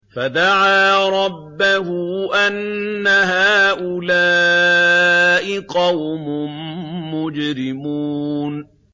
فَدَعَا رَبَّهُ أَنَّ هَٰؤُلَاءِ قَوْمٌ مُّجْرِمُونَ